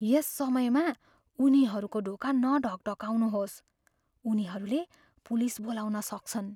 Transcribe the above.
यस समयमा उनीहरूको ढोका नढकढकाउनुहोस्। उनीहरूले पुलिस बोलाउन सक्छन्।